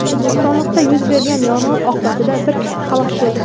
Bo‘stonliqda yuz bergan yong‘in oqibatida bir kishi halok bo‘ldi.